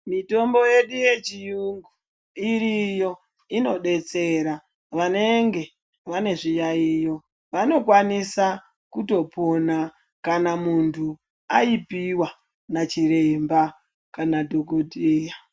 Mitombo yedu yechiyungu iriyo inobetsera vanenge vane zviyayiyo vanokwanisa kutopona kana muntu aipiwa nachiremba kana dhokodheya.